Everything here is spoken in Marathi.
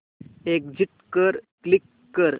एग्झिट वर क्लिक कर